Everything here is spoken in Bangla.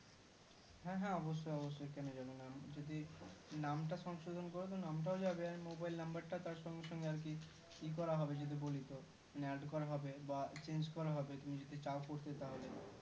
হ্যাঁ হ্যাঁ অবশ্যই অবশ্যই কেন যাবেনা যদি নামটা সংশোধন করো তো নামটা যাবে mobile number টা তার সঙ্গে সঙ্গে আরকি ইকরা হবে যদি বলিতো add করা হবে বা change করা হবে তুমি যদি চাও করতে তাহলে